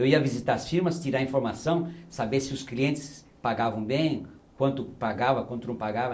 Eu ia visitar as firmas, tirar informação, saber se os clientes pagavam bem, quanto pagava, quanto não pagava,